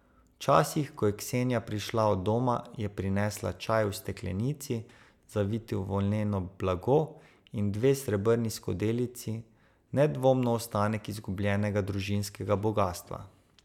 Včasih, ko je Ksenija prišla od doma, je prinesla čaj v steklenici, zaviti v volneno blago, in dve srebrni skodelici, nedvomno ostanek izgubljenega družinskega bogastva.